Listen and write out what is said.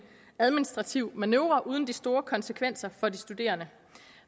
administrativ manøvre uden de store konsekvenser for de studerende